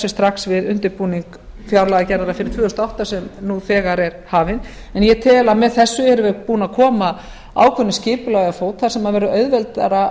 strax við undirbúning fjárlagagerðar fyrir tvö þúsund og átta sem nú þegar er hafin en ég tel að með þessu séum við búin að koma ákveðnu skipulagi á fót þar sem verður auðveldara